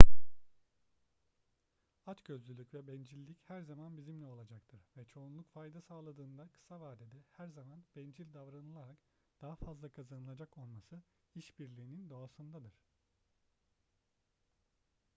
açgözlülük ve bencillik her zaman bizimle olacaktır ve çoğunluk fayda sağladığında kısa vadede her zaman bencil davranılarak daha fazla kazanılacak olması işbirliğinin doğasındadır